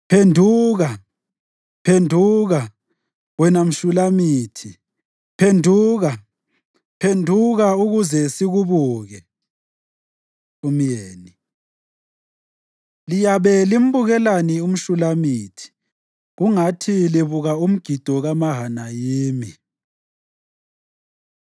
Phenduka, phenduka, wena mShulamithi; phenduka, phenduka, ukuze sikubuke! Umyeni Liyabe limbukelani umShulamithi kungathi libuka umgido kaMahanayimi?